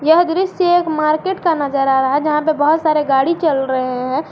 यह दृश्य एक मार्केट का नजर आ रहा है जहां पे बहुत सारे गाड़ी चल रहे हैं।